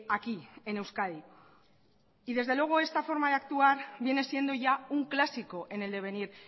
aquí en euskadi y desde luego esta forma de actuar viene siendo ya un clásico en el devenir